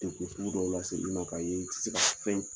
degun sugu dɔ laseli ye ma k'a ye i ti se ka sfɛn